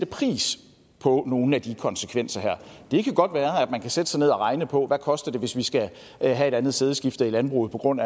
pris på nogen af de konsekvenser her det kan godt være at man kan sætte sig ned og regne på hvad koster hvis vi skal have et andet sædeskifte i landbruget på grund